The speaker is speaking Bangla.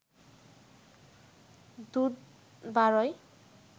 দুধ বারয়